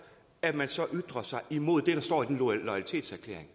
at man så ytrer sig imod det der står i den loyalitetserklæring